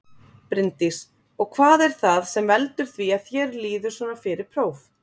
Bryndís: Og hvað er það sem veldur því að þér líður svona fyrir próf?